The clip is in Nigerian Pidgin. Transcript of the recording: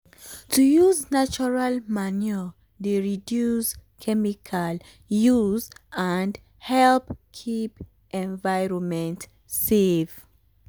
to use of natural manure dey reduce um chemical use and help um keep environment safe.